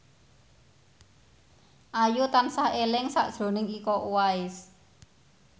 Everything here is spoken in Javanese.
Ayu tansah eling sakjroning Iko Uwais